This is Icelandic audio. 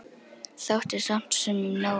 Þótti samt sumum nóg um.